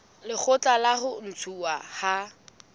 lekgotla la ho ntshuwa ha